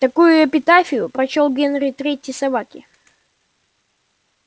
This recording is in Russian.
такую эпитафию прочёл генри третьей собаке